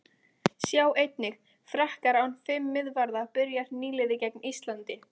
Sjá einnig: Frakkar án fimm miðvarða- Byrjar nýliði gegn Íslandi?